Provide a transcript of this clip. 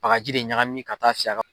Bagaji de ɲagami ka taa